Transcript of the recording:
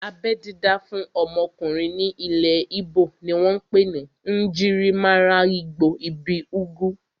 Abẹ́ dídá fún ọmọkùnrin ní ilẹ̀ íbò ni wọ́n pè ní "Njirimaralgbo ibi ugwu"